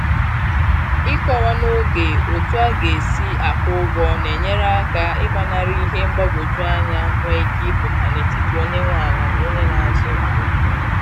Ịkọwa n'oge otu a ga-esi akwụ ụgwọ na-enyere aka ị gbanarị ihe mgbagwoju anya nwe ike ịpụta n'etiti onye nwe ala na onye na azụ ala